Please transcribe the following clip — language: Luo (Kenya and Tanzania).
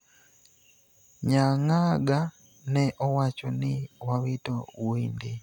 Nyangaga ne owacho ni wawito wuoi ndi